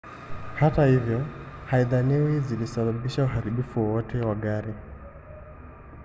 hata hivyo haidhaniwi zilisababisha uharibifu wowote wa gari